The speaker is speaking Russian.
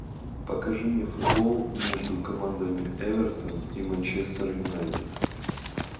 покажи мне футбол между командами эвертон и манчестер юнайтед